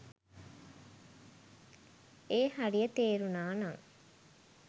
ඒ හරිය තේරුණා නං.